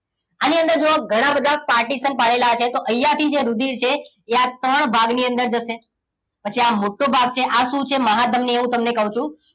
આની અંદર જુઓ ઘણા બધા partition પાડેલા હશે તો અહીંયા થી જે રુધિર છે એ આ ત્રણ ભાગની અંદર જશે પછી આ મોટો ભાગ છે આ શું છે મહાધમની હું તમને કહું છું